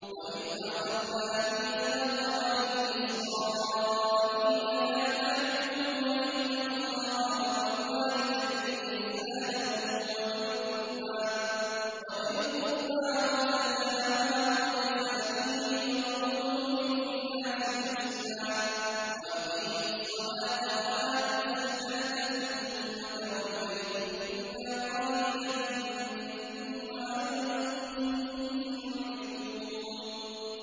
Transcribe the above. وَإِذْ أَخَذْنَا مِيثَاقَ بَنِي إِسْرَائِيلَ لَا تَعْبُدُونَ إِلَّا اللَّهَ وَبِالْوَالِدَيْنِ إِحْسَانًا وَذِي الْقُرْبَىٰ وَالْيَتَامَىٰ وَالْمَسَاكِينِ وَقُولُوا لِلنَّاسِ حُسْنًا وَأَقِيمُوا الصَّلَاةَ وَآتُوا الزَّكَاةَ ثُمَّ تَوَلَّيْتُمْ إِلَّا قَلِيلًا مِّنكُمْ وَأَنتُم مُّعْرِضُونَ